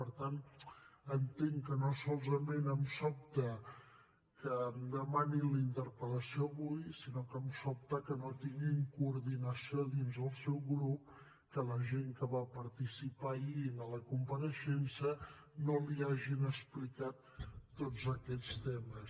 per tant entenc que no solament em sobta que em demani la interpel·lació avui sinó que em sobta que no tinguin coordinació dins el seu grup que la gent que va participar ahir en la compareixença no li hagin explicat tots aquests temes